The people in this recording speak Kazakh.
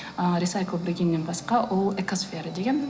ыыы рисайклбіргеден басқа ол экосфера деген